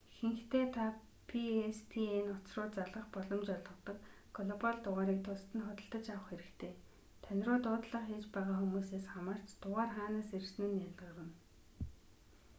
ихэнхдээ та pstn утас руу залгах боломж олгодог глобал дугаарыг тусад нь худалдаж авах хэрэгтэй тань руу дуудлага хийж байгаа хүмүүсээс хамаарч дугаар хаанаас ирсэн нь ялгарна